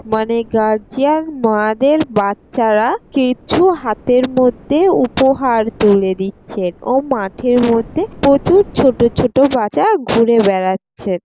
মানে গারজিয়ান মা দের বাচ্চারা কিছু হাতের মধ্যে উপহার তুলে দিচ্ছে ও মাঠের মধ্যে প্রচুর ছোট ছোট বাজা ঘুরে বাড়াচ্ছে।